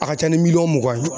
A ka ca ni miliyɔn mugan ye